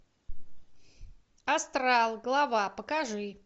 астрал глава покажи